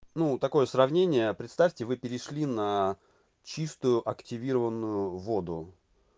ну такое сравнение представьте вы перешли на чистую активированную воду